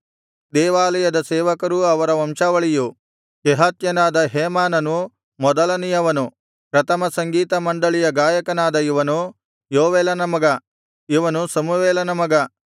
ದೇವಾಲಯದ ಸೇವಕರೂ ಅವರ ವಂಶಾವಳಿಯೂ ಕೆಹಾತ್ಯನಾದ ಹೇಮಾನನು ಮೊದಲನೆಯವನು ಪ್ರಥಮ ಸಂಗೀತ ಮಂಡಳಿಯ ಗಾಯಕನಾದ ಇವನು ಯೋವೇಲನ ಮಗ ಇವನು ಸಮುವೇಲನ ಮಗ